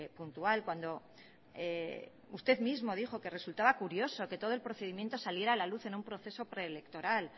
puntual cuando usted mismo dijo que resultaba curioso que todo el procedimiento saliera a la luz en un proceso preelectoral